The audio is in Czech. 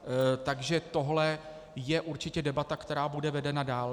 Takže tohle je určitě debata, která bude vedena dál.